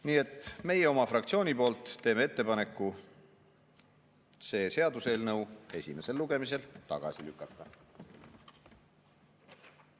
Nii et meie oma fraktsiooni poolt teeme ettepaneku see seaduseelnõu esimesel lugemisel tagasi lükata.